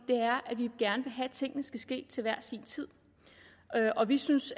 gerne vil have at tingene skal ske til hver sin tid vi synes